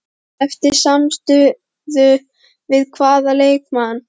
Eftir samstuð við hvaða leikmann?